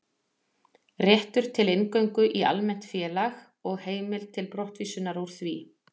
Réttur til inngöngu í almennt félag og heimild til brottvísunar úr því.